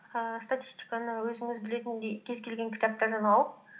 ііі статистиканы өзіңіз білетіндей кез келген кітаптардан алып